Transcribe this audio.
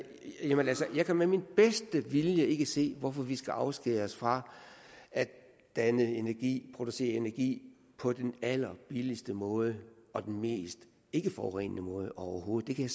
jeg altså med min bedste vilje ikke kan se hvorfor vi skal afskæres fra at danne energi producere energi på den allerbilligste måde og den mest ikkeforurenende måde overhovedet det kan